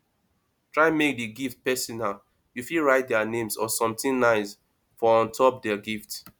try make di gift personal you fit write their name or something nice for on top di gift